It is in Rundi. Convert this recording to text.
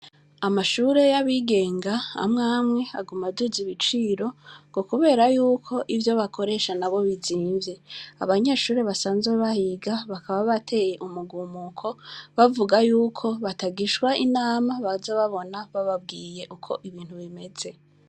Amashure y'abigenga amwamwe agumaduza ibiciro ngo, kubera yuko ivyo bakoresha na bo bizimvye abanyeshure basanze bahiga bakaba bateye umugumuko bavuga yuko batagishwa inama baza babona bababwiye uko ibintu bimeze.